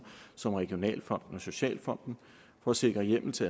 som regionalfonden og socialfonden for at sikre hjemmel til